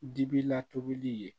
Dibi la tobili ye